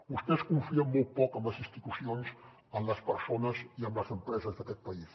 vostès confien molt poc en les institucions en les persones i en les empreses d’aquest país